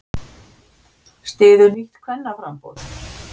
Styður nýtt kvennaframboð